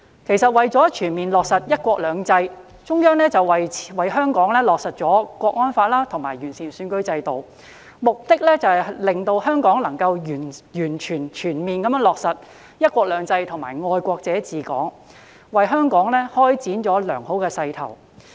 其實，中央為香港落實《香港國安法》及完善選舉制度，目的在於讓香港能全面落實"一國兩制"及"愛國者治港"，為香港開展了良好的勢頭。